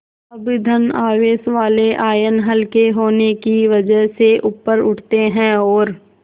अब धन आवेश वाले आयन हल्के होने की वजह से ऊपर उठते हैं और